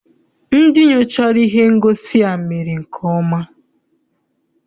Ndị nyochara ihe ngosi a mere nke ọma.